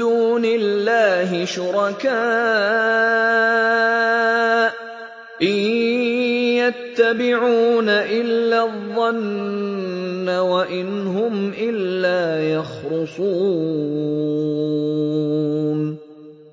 دُونِ اللَّهِ شُرَكَاءَ ۚ إِن يَتَّبِعُونَ إِلَّا الظَّنَّ وَإِنْ هُمْ إِلَّا يَخْرُصُونَ